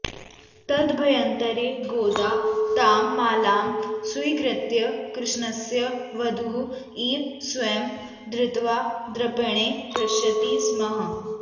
तदभ्यन्तरे गोदा तां मालां स्वीकृत्य कृष्णस्य वधूः इव स्वयं धृत्वा दर्पणे पश्यति स्म